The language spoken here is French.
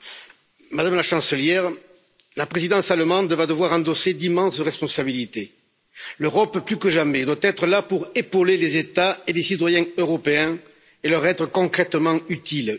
Madame la Présidente, Madame la Chancelière, la présidence allemande va devoir endosser d'immenses responsabilités. L'Europe, plus que jamais, doit être là pour épauler les États et les citoyens européens et leur être concrètement utile.